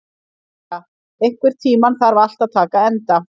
Klara, einhvern tímann þarf allt að taka enda.